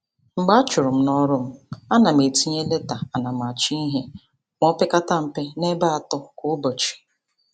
Mgbe a churu m n'ọrụ m, a na m etinye leta anamachọihe ma o pekata mpe n'ebe atọ kwa ụbọchị.